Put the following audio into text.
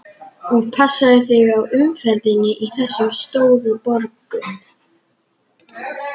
Og passaðu þig á umferðinni í þessum stóru borgum.